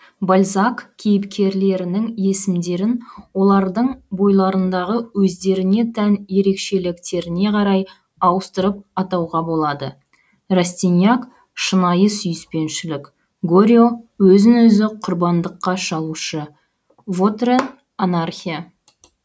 бальзак кейіпкерлерінің есімдерін олардың бойларындағы өздеріне тән ерекшеліктеріне қарай ауыстырып атауға болады растиньяк шынайы сүйіспеншілік горио өзін өзі құрбандыққа шалушы вотрен анархия